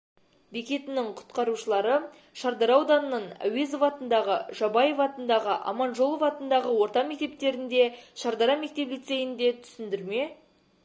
бекетінің құтқарушылары шардара ауданының әуезов атындағы жабаев атындағы аманжолов атындағы орта мектептерінде шарадара мектеп-лицейінде түсіндірме